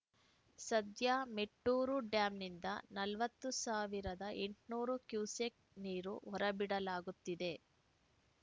ಸದ್ಯ ಮೆಟ್ಟೂರು ಡ್ಯಾಂನಿಂದ ನಲವತ್ತು ಸಾವಿರದ ಎಂಟುನೂರು ಕ್ಯುಸೆಕ್‌ ನೀರು ಹೊರಬಿಡಲಾಗುತ್ತಿದೆ